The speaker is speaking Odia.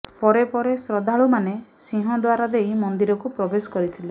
ପରେ ପରେ ଶ୍ରଦ୍ଧାଳୁମାନେ ସିଂହଦ୍ୱାର ଦେଇ ମନ୍ଦିରକୁ ପ୍ରବେଶ କରିଥିଲେ